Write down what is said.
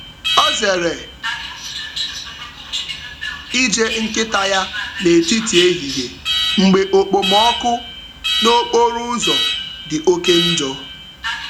Ọ zere ije nkịta ya n’etiti ehihie mgbe okpomọkụ n’okporo ụzọ dị oke njọ.